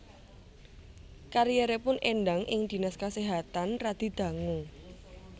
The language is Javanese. Karieripun Endang ing Dhinas Kaséhatan radi dangu